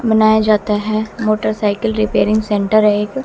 बनाया जाता है मोटरसाइकिल रिपेयरिंग सेंटर एक--